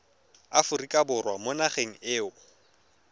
aforika borwa mo nageng eo